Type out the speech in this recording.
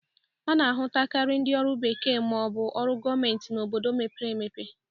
A na-ahụtakarị ndị ọrụ bekee ma ọ bụ ọrụ gomenti n'obodo mepere emepe.